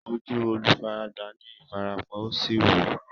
Ojú olùfaragbá ní ìfarapa, ó sì wú.